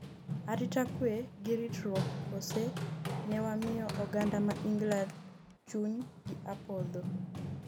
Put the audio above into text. arita kwe gi ritruok kose ne wamiyo oganda ma England chuny gi opodho?